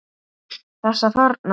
Þessa þarna!